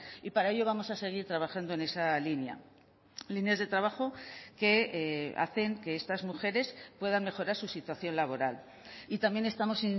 y para ello vamos a seguir trabajando en esa línea líneas de trabajo que hacen que estas mujeres puedan mejorar su situación laboral y también estamos